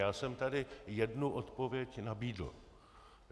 Já jsem tady jednu odpověď nabídl.